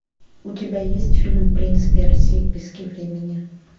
у тебя есть фильм принц персии пески времени